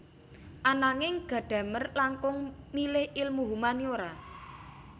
Ananging Gadamer langkung milih ilmu humaniora